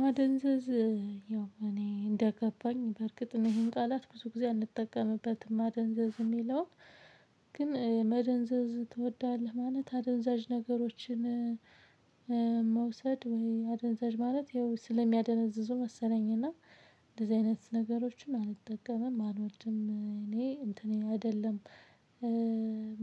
ማደንዘዝ ያው እኔ እንደገባኝ በርግጥ ነው ይሄን ቃላት ብዙ ጊዜ አንጠቀምበትም ማደንዘዝ የሚለውን። ግን መደንዘዝ ትወዳለህ ማለት አደንዛዥ ነገሮችን? መውሰድ ወይ አደነዘዥ ማለት ያው ስለሚያደነዝዙ መሰለኝ። እና እንደዚህ አይነት ነገሮችን አንጠቀምም አንወድም እኔ እንትኔ አይደለም።